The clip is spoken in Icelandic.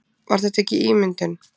Var þetta ekki ímyndun?